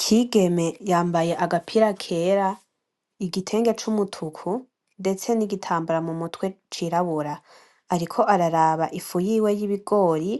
Kigeme yambaye agapira kera , igitenge cumutuku ndetse nigitambara mumutwe cirabura. Ariko araraba ifu yiwe yibigori